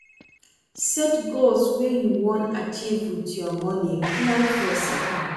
Set goals wey you wan achieve with your money, plan for sapa